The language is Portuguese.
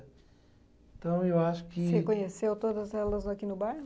Então, eu acho que. Você conheceu todas elas aqui no bairro?